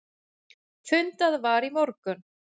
Fundað var í morgun.